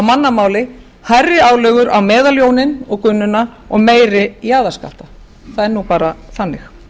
mannamáli hærri álögur á meðaljóninn og gunnuna og meiri jaðarskatta það er nú bara þannig